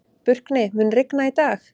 Burkni, mun rigna í dag?